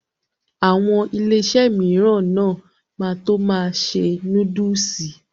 Àwọn Iléeṣẹ́ mìíràn náà ma tó ma ṣe núdúsì